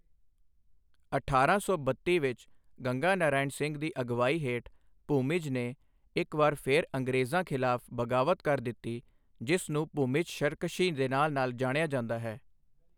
ਅਠਾਰਾਂ ਸੌ ਬੱਤੀ ਵਿੱਚ ਗੰਗਾ ਨਾਰਾਇਣ ਸਿੰਘ ਦੀ ਅਗਵਾਈ ਹੇਠ ਭੂਮਿਜ ਨੇ ਇੱਕ ਵਾਰ ਫਿਰ ਅੰਗਰੇਜ਼ਾਂ ਖ਼ਿਲਾਫ਼ ਬਗਾਵਤ ਕਰ ਦਿੱਤੀ ਜਿਸ ਨੂੰ ਭੁਮਿਜ ਸ਼ਰਕਸ਼ੀ ਦੇ ਨਾਂ ਨਾਲ ਜਾਣਿਆ ਜਾਂਦਾ ਹੈ